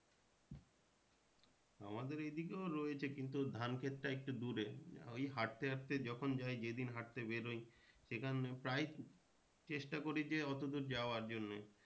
আমাদের এই দিকেও রয়েছে কিন্তু ধান খেতটা একটু দূরে ওই হাঁটতে হাঁটতে যখন যাই যেদিন হাঁটতে বেরোই সেখানে প্রায়ই চেষ্টা করি যে এতদূর যাওয়ার জন্যে